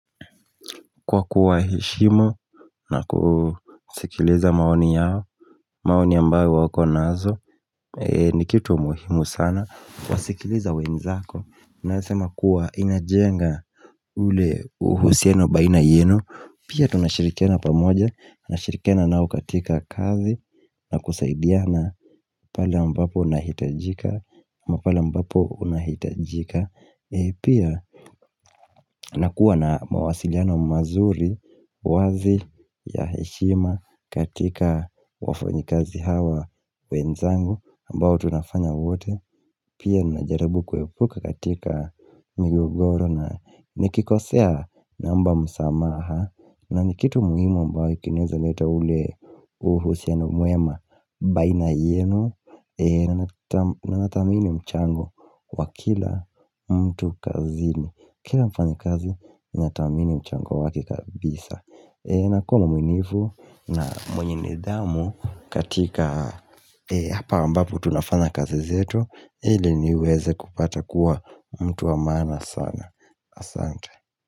Kwa kuwaheshimu na kusikiliza maoni yao maoni ambayo wako nazo ni kitu muhimu sana kuwasikileza wenzako Nasema kuwa inajenga ule uhusiano baina yenu Pia tunashirikiana pamoja, nashirikiana nao katika kazi na kusaidiana pale ambapo unahitajika, ama pale ambapo unahitajika Pia nakuwa na mawasiliano mazuri wazi ya heshima katika wafanyikazi hawa wenzangu ambao tunafanya wote Pia najarabu kuepuka katika miogoro na nikikosea naomba msamaha na ni kitu muhimu ambao kinezaleta ule uhusiano mwema baina yenu na nathamini mchango wa kila mtu kazini Kila mfanyikazi ninatamini mchango wake kabisa Nakono mwinifu na mwenye nidhamu katika hapa ambapo tunafanya kazi zetu ili niweze kupata kuwa mtu wa maana sana Asante.